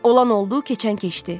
Olan oldu, keçən keçdi.